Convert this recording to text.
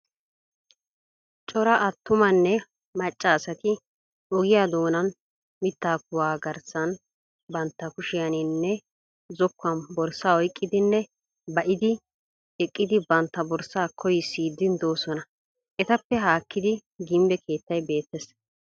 Cora atumanne macca asati ogiyaa doonan mittaa kuwan garssan bantta kushshiyaninne zokkuwaan borssaa oyqqidinne ba"idi eqqidi bantta borssaa koyissiidi doosona. etappe hakkidi ginbbe keettay beettees.